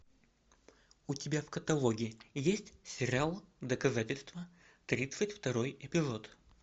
у тебя в каталоге есть сериал доказательство тридцать второй эпизод